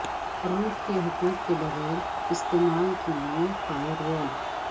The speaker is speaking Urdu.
روٹ کے حقوق کے بغیر استعمال کے لئے فائر وال